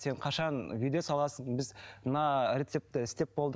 сен қашан видео саласың біз мына рецепті істеп болдық